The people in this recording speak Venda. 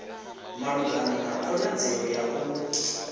malugana na khonadzeo ya u